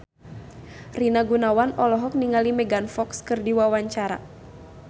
Rina Gunawan olohok ningali Megan Fox keur diwawancara